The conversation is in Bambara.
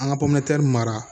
An ka pɔmɛri mara